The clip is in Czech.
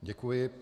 Děkuji.